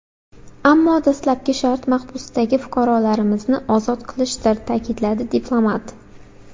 Ammo dastlabki shart mahbusdagi fuqarolarimizni ozod qilishdir”, ta’kidladi diplomat.